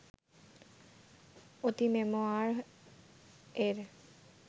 অঁতিমেমোয়ার-এর